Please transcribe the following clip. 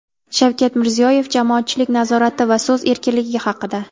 Shavkat Mirziyoyev jamoatchilik nazorati va so‘z erkinligi haqida.